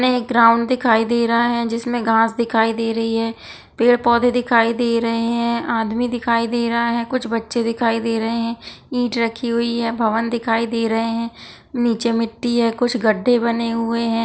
सामने एक ग्राउंड दिखाई दे रहा है जिसमे घास दिखाई दे रही है पेड़ पौधे दिखाई दे रहे है आदमी दिखाई दे रहा है कुछ बच्चे दिखाई दे रहें है ईट रखी हुई है भवन दिखाई दे रहे है नीचे मिट्टी है कुछ गड्ढ़े बने हुए है।